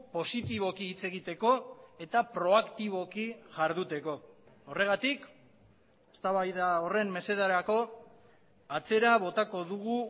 positiboki hitz egiteko eta proaktiboki jarduteko horregatik eztabaida horren mesederako atzera botako dugu